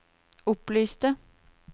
opplyste